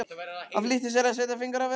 Hann flýtti sér að setja fingur að vörum.